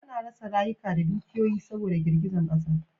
A na rasa rayuka da dukiyoyi saboda girgizan ƙasa